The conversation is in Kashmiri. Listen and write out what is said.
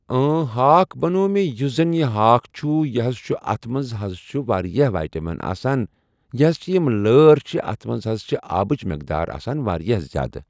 اۭں ہاکھ بنٛوو مےٚ یُس زن یہِ ہاکھ چھُ یہِ حظ چھُ اتھ منٛز حظ چھِ واریاہ ویٹمن آسان یہِ حظ چھِ یِم لٲر چھِ اتھ منٛز حظ چھِ آبٕچ مٮ۪قدار آسان واریاہ زیادٕ۔